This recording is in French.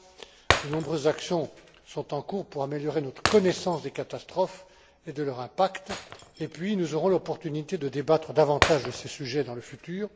Enfin, de nombreuses actions sont en cours pour améliorer notre connaissance des catastrophes et de leur impact, et puis nous aurons l'opportunité de débattre davantage de ces sujets dans le futur.